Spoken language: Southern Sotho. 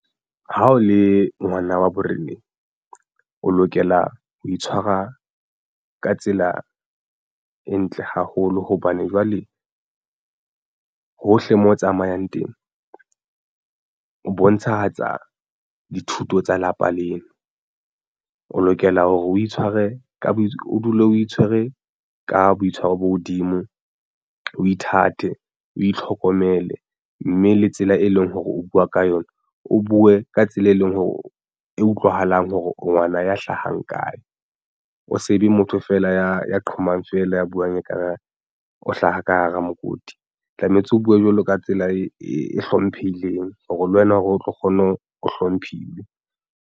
Ha o le ngwana wa boreneng o lokela ho itshwara ka tsela e ntle haholo hobane jwale hohle mo o tsamayang teng o bontshahatsa dithuto tsa lapa leno. O lokela hore o itshware ka bo o dule o itshwere ka boitshwaro bo hodimo, o ithate, o itlhokomele mme le tsela e leng hore o buwa ka yona o buwe ka tsela e leng hore e utlwahalang hore ngwana ya hlahang kae o sebe motho fela ya ya qhomang fela ya buwang ekare o hlaha ka hara mokoti. Tlametse o buwe jwalo ka tsela e hlomphehileng hore le wena hore o tlo kgona hore o hlomphiwe.